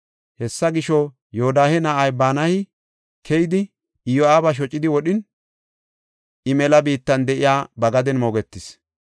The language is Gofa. Hessa gisho, Yoodahe na7ay Banayi keyidi, Iyo7aaba shocidi wodhin, I mela biittan de7iya ba gaden moogetis.